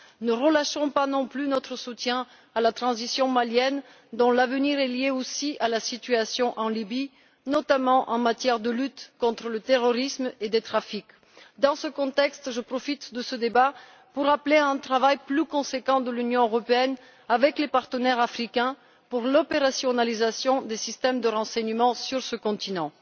Ne relâchons pas non plus notre soutien à la transition malienne dont l'avenir est liée aussi à la situation en Libye, notamment en matière de lutte contre le terrorisme et les trafics. Dans ce contexte, je profite de ce débat pour appeler à un travail plus conséquent de l'Union européenne avec les partenaires africains pour l'opérationnalisation des systèmes de renseignement sur ce continent.